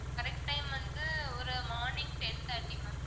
correct time வந்து ஒரு morning ten thirty ma'am